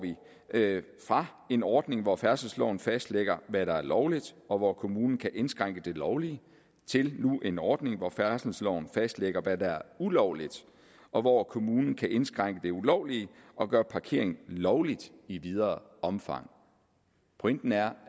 fra en ordning hvor færdselsloven fastlægger hvad der er lovligt og hvor kommunen kan indskrænke det lovlige til en ordning hvor færdselsloven fastlægger hvad der er ulovligt og hvor kommunen kan indskrænke det ulovlige og gøre parkering lovlig i videre omfang pointen er